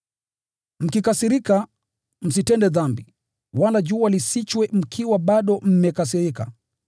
Mkikasirika, msitende dhambi, wala jua lisichwe mkiwa bado mmekasirika,